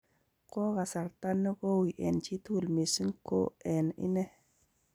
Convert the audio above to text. Kokasartaa negouui en chitugul mising' ko en inee.